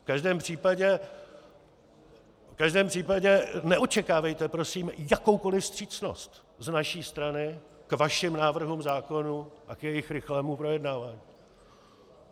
V každém případě neočekávejte prosím jakoukoli vstřícnost z naší strany k vašim návrhům zákonů a k jejich rychlému projednávání.